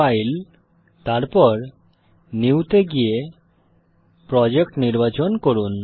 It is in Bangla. ফাইল তারপর নিউ তে গিয়ে প্রজেক্ট নির্বাচন করুন